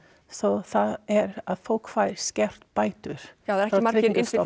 svo það er að fólk fær skertar bætur já það eru ekki margir